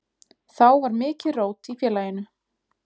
Þá var mikið rót í félaginu.